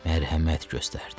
Mərhəmət göstərdin.